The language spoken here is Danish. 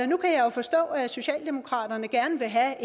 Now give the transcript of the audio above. nu kan jeg jo forstå at socialdemokratiet gerne vil have